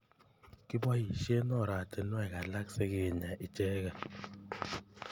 Kiboishe oratunwek alak sikinya icheket.